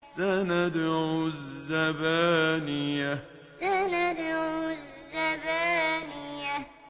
سَنَدْعُ الزَّبَانِيَةَ سَنَدْعُ الزَّبَانِيَةَ